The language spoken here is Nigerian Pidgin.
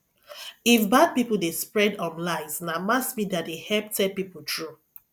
if bad people dey spread um lies na mass media dey help tell people true